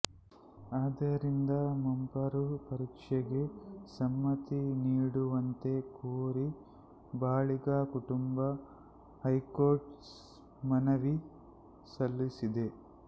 ಆದ್ದರಿಂದ ಮಂಪರು ಪರೀಕ್ಷೆಗೆ ಸಮ್ಮತಿ ನೀಡುವಂತೆ ಕೋರಿ ಬಾಳಿಗಾ ಕುಟಂಬ ಹೈಕೋರ್ಟ್ಗೆ ಮನವಿ ಸಲ್ಲಿಸಿದೆ